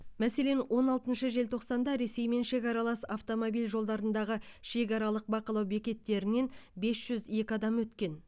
мәселен он алтыншы желтоқсанда ресеймен шекаралас автомобиль жолдарындағы шекаралық бақылау бекеттерінен бес жүз екі адам өткен